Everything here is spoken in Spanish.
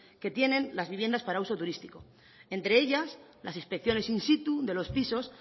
que tienen las viviendas para uso turístico entre ellas las inspecciones in situ de los pisos